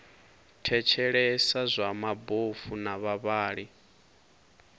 thetshelesa zwa mabofu na vhavhali